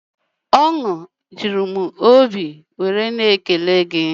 Ọnwụ jụrụ m obi na ékélé gi